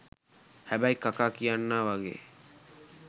හැබැයි කකා කියන්නා වගේ